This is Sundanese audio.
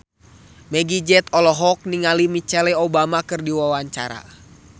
Meggie Z olohok ningali Michelle Obama keur diwawancara